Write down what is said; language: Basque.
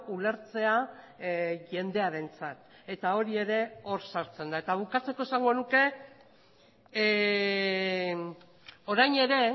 ulertzea jendearentzat eta hori ere hor sartzen da eta bukatzeko esango nuke orain ere